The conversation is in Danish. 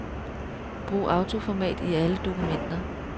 Brug autoformat i alle dokumenter.